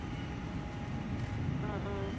অহ অহ